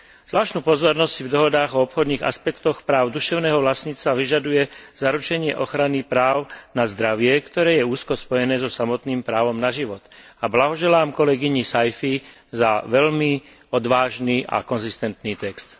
Zvláštnu pozornosť si v dohodách o obchodných aspektoch práv duševného vlastníctva vyžaduje zaručenie ochrany práv na zdravie, ktoré je úzko spojené so samotným právom na život, a blahoželám kolegyni Saïfi za veľmi odvážny a konzistentný text.